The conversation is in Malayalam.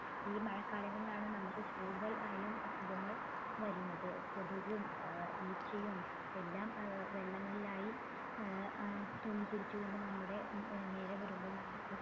ഈ മഴകാലങ്ങളിലാണ് നമ്മുക്ക് കൂടുതൽ ആയും അസുഖങ്ങൾ വരുന്നത് കൊതുകും ഏർ ഈച്ചയും എല്ലാം ഏർ വെള്ളങ്ങളിലായി ഏർ ആഹ് തൂങ്ങിപിടിച്ചുകൊണ്ട് നമ്മുടെ ഉം നേരെ വരുമ്പോൾ നമുക്ക്